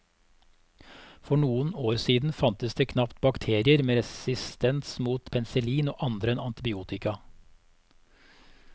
For noen år siden fantes det knapt bakterier med resistens mot penicillin og andre antibiotika.